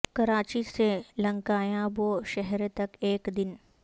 کراچی سے لنکایابو شہر تک ایک دن